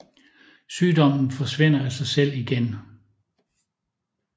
Sygdommen forsvinder af sig selv igen